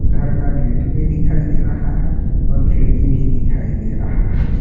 घर का गेट भी दिखाई दे रहा है और खिड़की भी दिखाई दे रहा है।